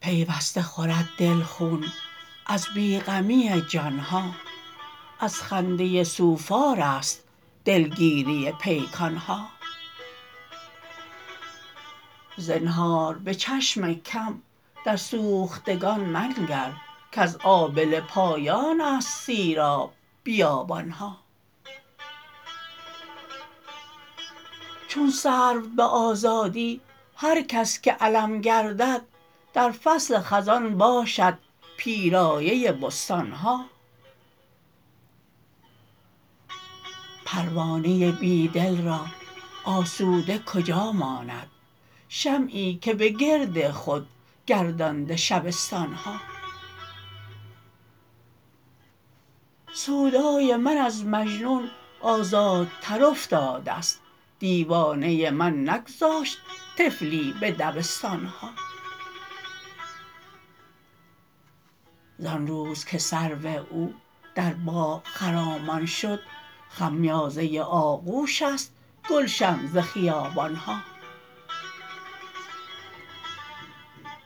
پیوسته خورد دل خون از بی غمی جان ها از خنده سوفارست دلگیری پیکان ها زنهار به چشم کم در سوختگان منگر کز آبله پایان است سیراب بیابان ها چون سرو به آزادی هرکس که علم گردد در فصل خزان باشد پیرایه بستان ها پروانه بیدل را آسوده کجا ماند شمعی که به گرد خود گردانده شبستان ها سودای من از مجنون آزادتر افتاده است دیوانه من نگذاشت طفلی به دبستان ها زان روز که سرو او در باغ خرامان شد خمیازه آغوش است گلشن ز خیابان ها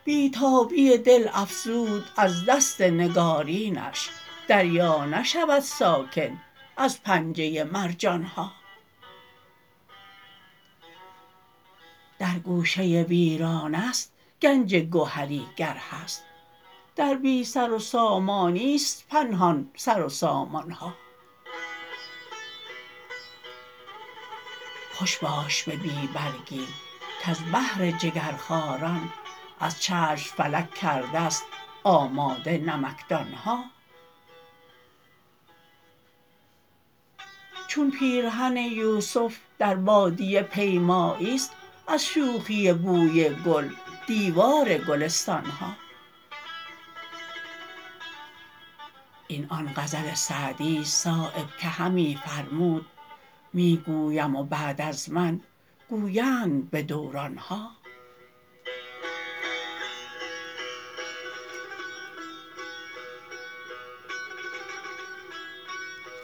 بی تابی دل افزود از دست نگارینش دریا نشود ساکن از پنجه مرجان ها در گوشه ویرانه است گنج گهری گر هست در بی سروسامانی است پنهان سروسامان ها خوش باش به بی برگی کز بهر جگرخواران از چشم فلک کرده است آماده نمکدان ها چون پیرهن یوسف در بادیه پیمایی است از شوخی بوی گل دیوار گلستان ها این آن غزل سعدی است صایب که همی فرمود می گویم و بعد از من گویند به دوران ها